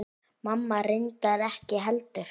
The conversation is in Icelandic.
Mamma reyndar ekki heldur.